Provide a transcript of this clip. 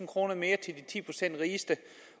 kroner mere til de ti procent rigeste